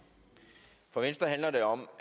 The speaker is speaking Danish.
nu at herre